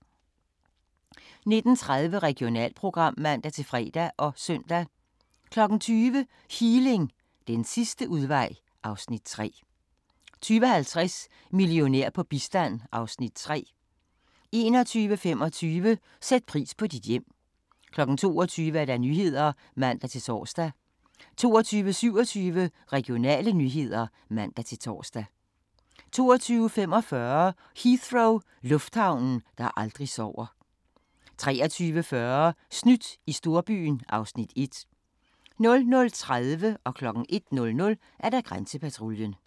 19:30: Regionalprogram (man-fre og søn) 20:00: Healing – den sidste udvej (Afs. 3) 20:50: Millionær på bistand (Afs. 3) 21:25: Sæt pris på dit hjem 22:00: Nyhederne (man-tor) 22:27: Regionale nyheder (man-tor) 22:45: Heathrow – lufthavnen, der aldrig sover 23:40: Snydt i storbyen (Afs. 1) 00:30: Grænsepatruljen 01:00: Grænsepatruljen